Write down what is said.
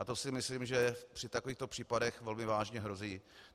A to si myslím, že při takovýchto případech velmi vážně hrozí.